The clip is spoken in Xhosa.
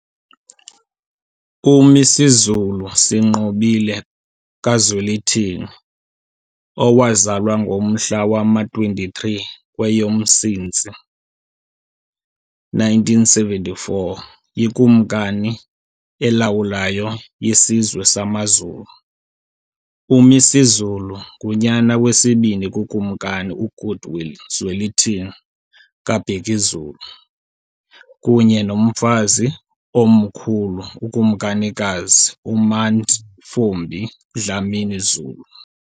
UMisuzulu Sinqobile kaZwelithini, owazalwa ngomhla wama-23 kweyoMsintsi 1974, yiKumkani elawulayo yesizwe samaZulu. UMisuzulu ngunyana wesibini kuKumkani uGoodwill Zwelithini kaBhekuzulu kunye noMfazi Omkhulu uKumkanikazi uMantfombi Dlamini Zulu.